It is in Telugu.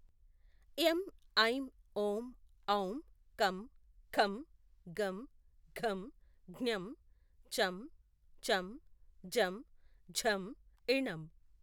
ఏం ఐం ఓం ఔం కం ఖం గం ఘం ఙం చం చం జం ఝం ఞం